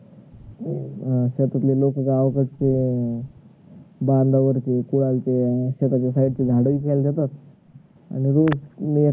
अं त्याच्या ले लोक गावाकडच अं बांधावरच काय ते अं शेताच्या side चे झाडे उचलायला जातात आणि हे